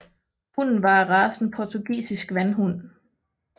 Hunden var af racen portugisisk vandhund